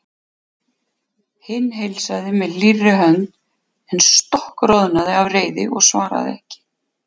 Hinn heilsaði með hlýrri hönd en stokkroðnaði af reiði og svaraði ekki.